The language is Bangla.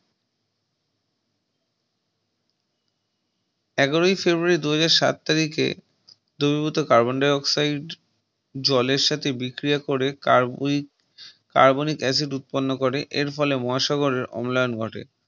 এগারোয় Febuary দুহাজার শাত তারিখে দ্রবীভূত Carbon Dioxide জলের সাথে বিক্রিয়া করে Carbonic Acid উৎপন্ন করে এর ফলে মহাসাগরের অমলায়ান ঘটে